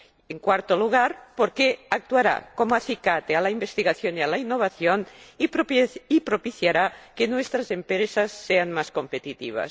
En cuarto lugar, porque actuará como acicate a la investigación y a la innovación y propiciará que nuestras empresas sean más competitivas.